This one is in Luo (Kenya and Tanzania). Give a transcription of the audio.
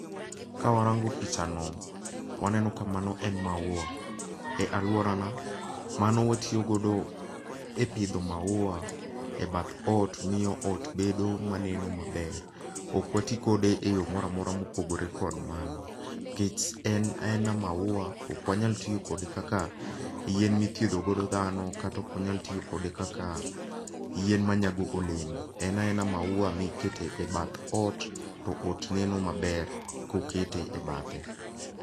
Ka warango picha no, waneno ka mano en maua. E alworana, mano watiyo godo e pidho maua e bath ot, miyo ot bedo maneno maber. Ok wati kode e yo moramora mopogore kod mano. Nikech en en maua, okwanyal tiyo kode kaka yien mithiedho godo dhano, kata okwanyal tiyo kode kaka yien ma nyago olem. En aena maua miketo e bath ot to ot neno maber koket e bathe.